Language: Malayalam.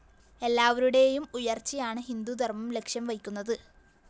എല്ലാവരുടേയും ഉയര്‍ച്ചയാണ് ഹിന്ദു ധര്‍മ്മം ലക്ഷ്യംവയ്ക്കുന്നത്